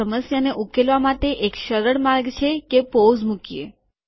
આ સમસ્યાને ઉકેલવા માટે એક સરળ માર્ગ છે કે પોઝ મુકીએ